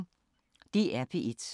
DR P1